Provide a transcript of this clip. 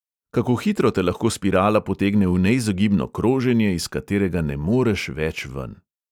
Kako hitro te lahko spirala potegne v neizogibno kroženje, iz katerega ne moreš več ven.